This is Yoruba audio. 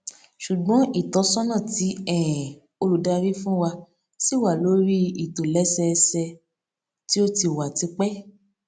ṣùgbọn ìtọsọnà tí um olùdarí fún wa ṣì wà lórí ìtòlẹsẹẹsẹ tí ó ti wà tipẹ